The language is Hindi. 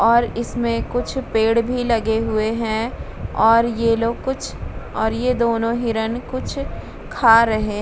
और इसमें कुछ पेड़ भी लगे हुए हैं और ये लोग कुछ और ये दोनों हिरण कुछ खा रहे --